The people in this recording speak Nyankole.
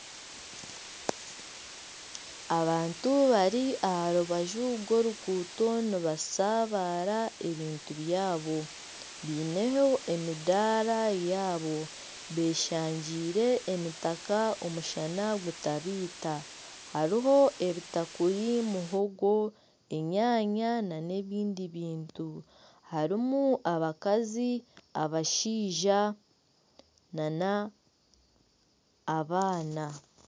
Abantu bari aha rubaju rw'oruguuto nibashabara ebintu byabo biineho emindaara yaabo beshangire emitaka omushana gutabaita hariho ebitakuri, muhongo, enyanya n'ebindi bintu hariho abakazi, abashaija n'abaana.